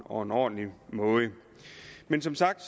og ordentlig måde men som sagt